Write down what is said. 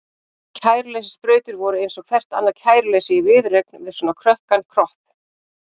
Kæruleysissprautur voru eins og hvert annað kæruleysi í viðureign við svona krökkan kropp.